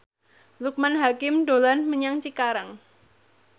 Loekman Hakim dolan menyang Cikarang